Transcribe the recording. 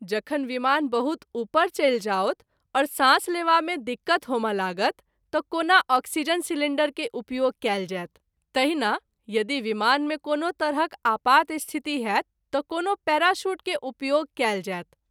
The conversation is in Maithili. जखन विमान बहुत उपर चलि जाओत और सांस लेवा मे दिक्कत होमय लागत त’ कोना आक्सीजन सिलिंडर के उपयोग कएल जायत, तहिना यदि विमान मे कोनो तरहक आपात स्थिति होएत त’ कोनो पैराशूट के उपयोग कयल जायत।